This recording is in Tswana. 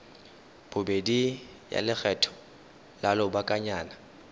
bobedi ya lekgetho la lobakanyana